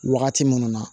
Wagati minnu na